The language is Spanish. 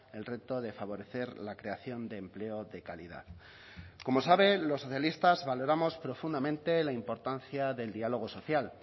el reto de favorecer la creación de empleo de calidad como sabe los socialistas valoramos profundamente la importancia del diálogo social